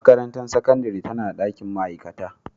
Makarantar Sakandare tana da dakin ma'aikata